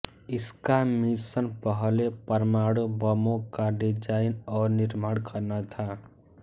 इसका मिशन पहले परमाणु बमों का डिजाइन और निर्माण करना था